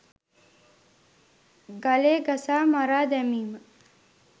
ගලේ ගසා මරා දැමීම